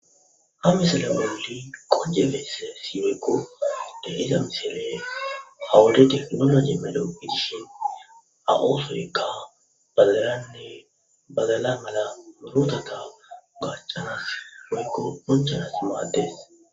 ha misala bawoli qoje beesse siweykko de iza misile hawaledi domma jeemelo gidishin a7oforykka balaranne bagala mala mootata gaccanas weykko ponchanas maaddes